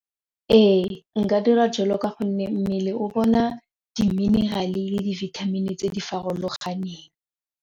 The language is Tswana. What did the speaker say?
Ee, nka dira jalo ka gonne mmele o bona di-mineral le dibithamini tse di farologaneng.